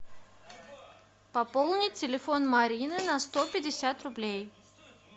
пополнить телефон марины на сто пятьдесят рублей